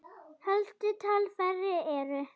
Helstu talfæri eru